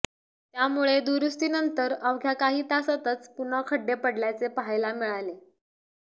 त्यामुळे दुरुस्तीनंतर अवघ्या काही तासांतच पुन्हा खड्डे पडल्याचे पाहायला मिळाले